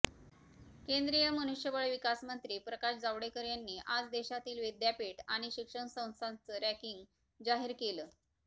केंद्रीय मनुष्यबळ विकासमंत्री प्रकाश जावडेकर यांनी आज देशातील विद्यापीठ आणि शिक्षण संस्थांचं रँकिंग जाहीर केलं